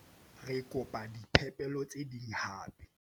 re kopa diphepelo tse ding hape